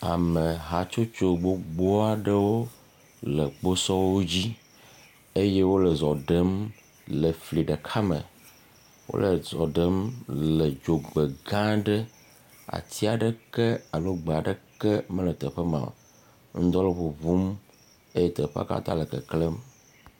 Ame hatsotso gbogbo aɖewo le kposɔwo dzi eye wole zɔ ɖem le fli ɖeka me, wole zɔ ɖem le dzogbe gã aɖe, ati aɖeke alo gbe aɖeke mele teƒe ma, ŋdɔ le ŋuŋum eye teƒea katã le keklẽm.